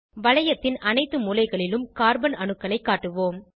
வளையத்தின் அனைத்து மூலைகளிலும் கார்பன் அணுக்களை காட்டுவோம்